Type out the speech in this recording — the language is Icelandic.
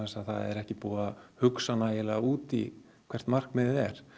að það er ekki búið að hugsa nægilega út í hvert markmiðið er